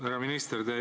Härra minister!